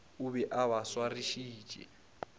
o be a ba swarišitše